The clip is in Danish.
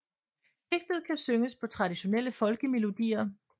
Digtet kan synges på traditionelle folkemelodier